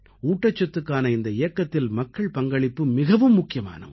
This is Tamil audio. ஊட்டச்சத்துக்கான இந்த இயக்கத்தில் மக்கள் பங்களிப்பு மிகவும் முக்கியமான ஒன்று